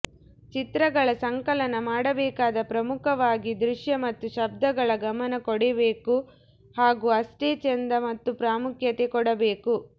ಚಿತ್ರಗಳ ಸಂಕಲನ ಮಾಡಬೇಕಾದ ಪ್ರಮುಖವಾಗಿ ದೃಶ್ಯ ಮತ್ತು ಶಬ್ಧಗಳ ಗಮನ ಕೊಡಬೇಕು ಹಾಗೂ ಅಷ್ಟೇ ಚೆಂದ ಮತ್ತು ಪ್ರಾಮುಖ್ಯತೆ ಕೊಡಬೇಕು